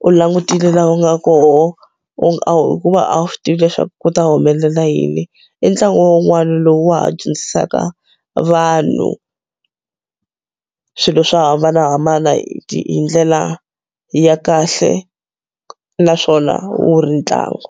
u langutile laha u nga koho hikuva a wu swi tivi leswaku ku ta humelela yini i ntlangu wun'wana lowu wa ha dyondzisaka vanhu swilo swo hambanahambana hi ndlela ya kahle naswona wu ri ntlangu.